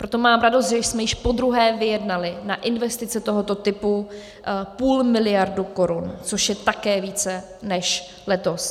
Proto mám radost, že jsme již po druhé vyjednali na investice tohoto typu půl miliardy korun, což je také více než letos.